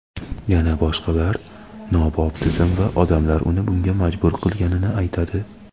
yana boshqalar nobop tizim va odamlar uni bunga majbur qilganini aytadi.